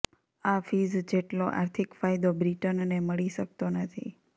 આ ફીઝ જેટલો આર્થીક ફાયદો બ્રિટનને મળી શકતો નથી